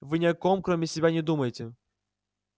вы ни о ком кроме себя не думаете